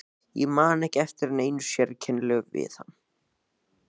Ég man ekki eftir neinu sérkennilegu við hann.